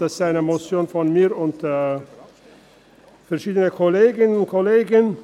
Das ist eine Motion von mir und verschiedenen Kolleginnen und Kollegen